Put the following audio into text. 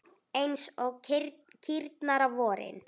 Eins og kýrnar á vorin!